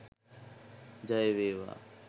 ජය වේවා!